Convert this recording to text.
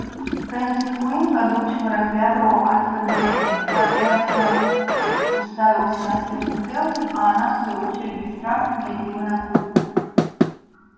фрэнсис куинн задумчиво разглядывал альфреда лэннинга так яростно уставился на сьюзен кэлвин а она в свою очередь бесстрастно глядела на куинна